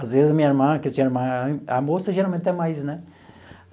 Às vezes, a minha irmã, que eu tinha uma... A moça, geralmente, tem mais, né?